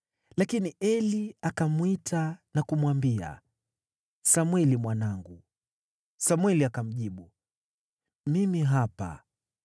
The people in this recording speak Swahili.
lakini Eli akamwita na kumwambia, “Samweli mwanangu.” Samweli akamjibu, “Mimi hapa.”